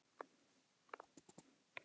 Ljóskan situr á rúmi og er mjög vandræðaleg.